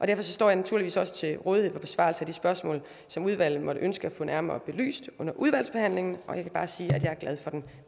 derfor står jeg naturligvis også til rådighed for besvarelse af de spørgsmål som udvalget måtte ønske at få nærmere belyst under udvalgsbehandlingen og jeg vil bare sige at jeg er glad for den